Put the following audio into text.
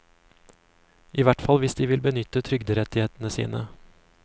I hvert fall hvis de vil benytte trygderettighetene sine.